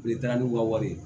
U bɛ taa n'u ka wari ye